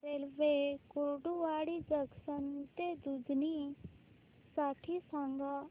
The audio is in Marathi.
रेल्वे कुर्डुवाडी जंक्शन ते दुधनी साठी सांगा